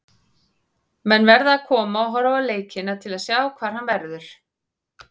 Menn verða að koma og horfa á leikina til að sjá hvar hann verður.